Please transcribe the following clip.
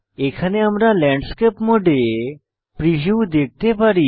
এখানে আমরা ল্যান্ডস্কেপ মোডে প্রিভিউ দেখতে পারি